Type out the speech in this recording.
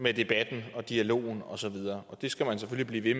med debatten og dialogen og så videre og det skal man selvfølgelig blive